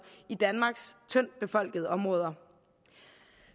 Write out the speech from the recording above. i danmarks tyndtbefolkede områder